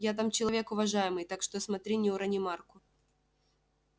я там человек уважаемый так что смотри не урони марку